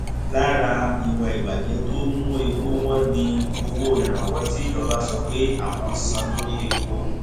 lára ìwà ìbàjẹ tó ń mú epo wọn ni owó ìrànwọ tí ìjọba sọ pé àwọn ń san lórí epo